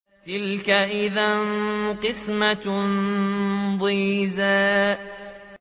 تِلْكَ إِذًا قِسْمَةٌ ضِيزَىٰ